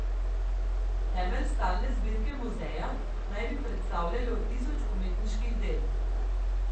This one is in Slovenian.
Temelj stalne zbirke muzeja naj bi predstavljalo tisoč umetniških del.